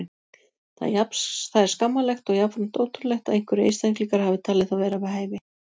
Það er skammarlegt og jafnframt ótrúlegt að einhverjir einstaklingar hafi talið það vera við hæfi.